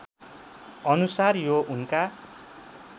अनुसार यो उनका